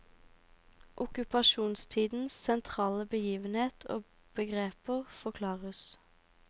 Okkupasjonstidens sentrale begivenheter og begreper forklares.